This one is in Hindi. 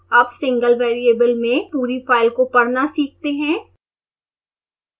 अब सिंगल वेरिएबल में पूरी फाइल को पढ़ना सीखते हैं